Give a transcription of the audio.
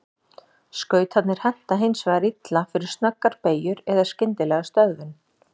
Skautarnir henta hins vegar illa fyrir snöggar beygjur eða skyndilega stöðvun.